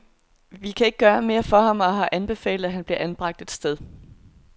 Vi kan ikke gøre mere for ham, og har anbefalet, at han bliver anbragt et sted.